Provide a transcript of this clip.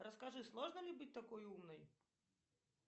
расскажи сложно ли быть такой умной